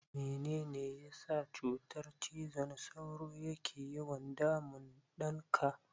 Mene ne ya sa cutar cizon sauro ke yawan damun ɗanka?